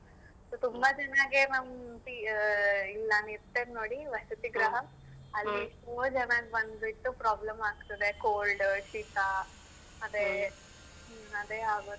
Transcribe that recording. ತುಂಬಾ ಜನಗೆ ನಮ್ ಇಲ್ಲಿ ನಾನ್ ಇರ್ತೇನೆ ನೋಡಿ ವಸತಿ ಗ್ರಹ ಅಲ್ಲಿ ತುಂಬ ಜನಕ್ ಬಂದ್ಬಿಟ್ಟು problem ಆಗ್ತದೆ cold ಶೀತ ಅದೆ ಆಗುದು.